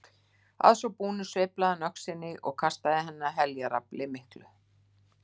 Að svo búnu sveiflaði hann öxinni og kastaði henni af heljarafli miklu.